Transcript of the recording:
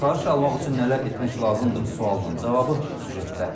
Çıxarış almaq üçün nələr etmək lazımdır sualının cavabı süjetdə.